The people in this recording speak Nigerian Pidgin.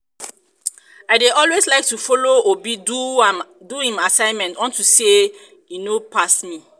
i dey always like to follow obi do im assignment unto say e know pass me